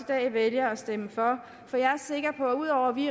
dag vælger at stemme for for jeg er sikker på at ud over vi